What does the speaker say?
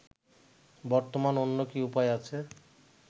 বর্তমান অন্য কি উপায় আছে